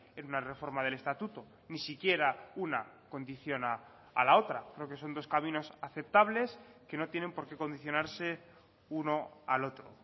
en una reforma del estatuto ni siquiera una condiciona a la otra creo que son dos caminos aceptables que no tienen por qué condicionarse uno al otro